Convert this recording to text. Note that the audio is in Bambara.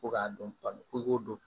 Ko k'a dɔn ko i k'o dɔn